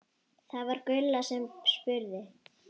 Það var Gulla sem spurði.